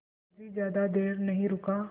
मुखर्जी ज़्यादा देर नहीं रुका